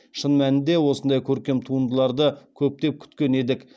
шын мәнінде осындай көркем туындыларды көптен күткен едік